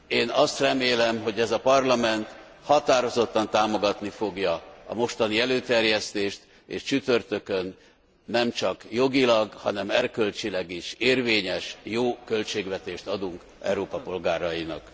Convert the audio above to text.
Én azt remélem, hogy ez a Parlament határozottan támogatni fogja a mostani előterjesztést és csütörtökön nem csak jogilag, hanem erkölcsileg is érvényes, jó költségvetést adunk Európa polgárainak.